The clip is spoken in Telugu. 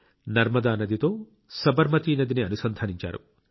నర్మదా నదితో సబర్మతి నదిని అనుసంధానించారు